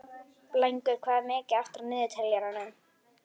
Blængur, hvað er mikið eftir af niðurteljaranum?